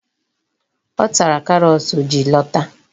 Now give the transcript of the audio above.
Ọ tara karọt ji lọta.